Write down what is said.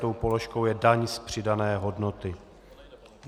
Tou položkou je daň z přidané hodnoty.